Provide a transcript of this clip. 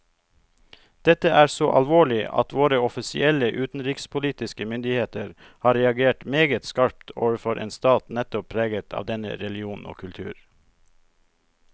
Dette er så alvorlig at våre offisielle utenrikspolitiske myndigheter har reagert meget skarpt overfor en stat nettopp preget av denne religion og kultur.